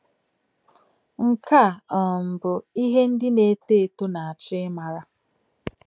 Nke a um bụ ihe ndị na-eto eto na - achọ ịmara.